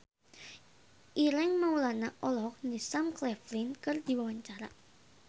Ireng Maulana olohok ningali Sam Claflin keur diwawancara